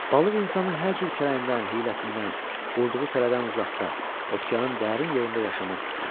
Balıq insanın hər cür kərəyindən, hiyləsindən, qurduğu tələdən uzaqda, okeanın dərin yerində yaşamaq istəyirdi.